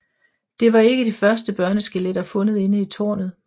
Det var ikke de første børneskeletter fundet inde i tårnet